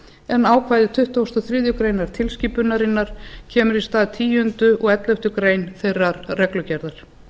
en ákvæði tuttugasta og þriðju greinar tilskipunarinnar kemur í stað tíunda og elleftu greinar þeirrar reglugerðar